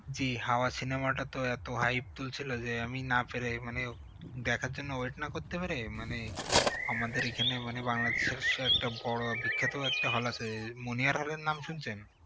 জ্বি হাওয়া cinema টা তো এত hype তুলছিল যে আমি না পেরে মানে দেখার জন্য wait না করতে পেরে মানে আমাদের এই খানে মানে বাংলাদেশের একটা বড় বিখ্যাত একটা hall আছে আহ মুনিয়ার hall এর নাম শুনছেন?